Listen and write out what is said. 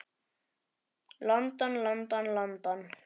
London, London, London.